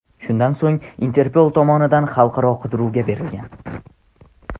Shundan so‘ng Interpol tomonidan xalqaro qidiruvga berilgan.